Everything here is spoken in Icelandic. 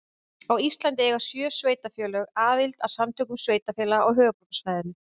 Á Íslandi eiga sjö sveitarfélög aðild að Samtökum sveitarfélaga á höfuðborgarsvæðinu.